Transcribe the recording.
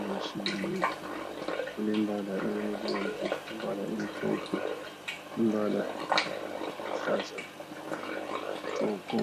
yesintu ilembala emhlophe, ilembalanga emnyama ,ilembala elithanga ilembala eluhlaza tshoko.